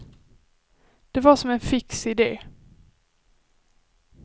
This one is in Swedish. Det var som en fix idé.